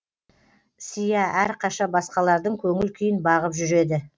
сиа әрқаша басқалардың көңіл күйін бағып жүреді